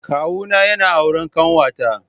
Kawuna yana auren kanwata.